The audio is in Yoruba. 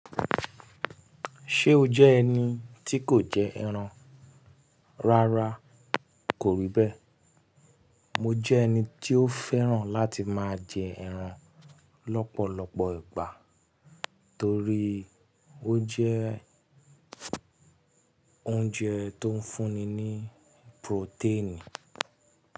Ṣé o jẹ́ ẹni tí kò jẹ ẹran? Rárá, kò rí bẹ́. Mo jẹ́ ẹni tí ó fẹ́ràn láti máa jẹ ẹran lọ́pọ̀lọpọ̀ ìgbà torí ó jẹ́ oúnjẹ tó ń fúnni ní protein.